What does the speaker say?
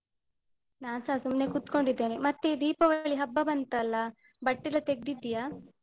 ನಾನ್ಸ ಸುಮ್ನೆ ಕುತ್ಕೊಂಡಿದ್ದೇನೆ. ಮತ್ತೆ ಈ ದೀಪಾವಳಿ ಹಬ್ಬ ಬಂತಲ್ಲ ಬಟ್ಟೆ ಎಲ್ಲ ತೆಗ್ದಿದ್ದೀಯಾ?